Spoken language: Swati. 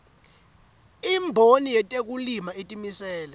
imboni yetekulima itimisele